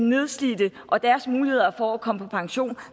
nedslidte og deres muligheder for at komme på pension